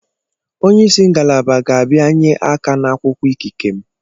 Onye isi ngalaba ga-abịanye aka n'akwụkwọ ikike m.